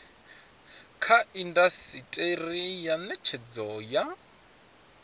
kha indasiteri ya netshedzo ya